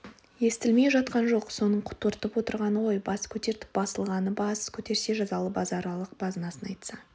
естілмей жатқан жоқ соның құтыртып отырғаны ғой бас көтертіп басылған бас көтерсе жазалы базаралы базынасын айтса